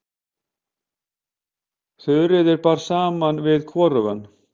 Þuríði bar saman við hvorugan.